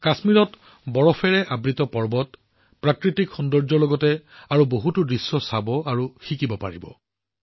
কাশ্মীৰত বৰফৰে আবৃত পৰ্বত প্ৰাকৃতিক সৌন্দৰ্য চাবলৈ আৰু জানিবলৈ আৰু বহুতো বস্তু আছে